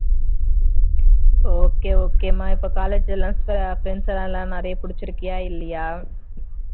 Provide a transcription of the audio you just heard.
okay okay மா இப்ப college எல்லாம் friends லாம் எல்லாரும் நிறைய புடிச்சி இருக்கியா இல்லையா?